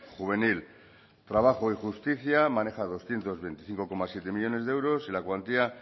juvenil trabajo y justicia maneja doscientos veinticinco coma siete millónes de euros y la cuantía